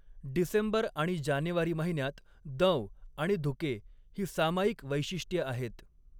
डिसेंबर आणि जानेवारी महिन्यात दंव आणि धुके ही सामायिक वैशिष्ट्ये आहेत.